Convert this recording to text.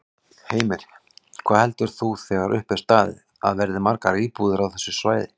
Heimir: Hvað heldur þú þegar upp er staðið að verði margar íbúðir á þessu svæði?